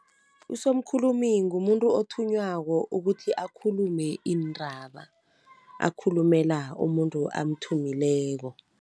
Usomkhulumi ngumuntu othunywako ukuthi akhulume iindraba, akhulumela umuntu amthumileko.